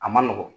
A man nɔgɔn